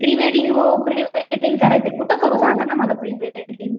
प्रेवडींग हो प्रेवेडींग करायचंय. कुठं करू सांगा ना मला प्रेवेडींग?